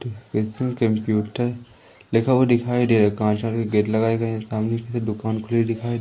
computer लिखा हुआ दिखाई दे कांच का गेट लगाए गए है सामने से दुकान खुली दिखाई--